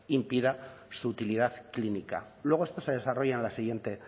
impida su utilidad clínica luego esto se desarrolla en la siguiente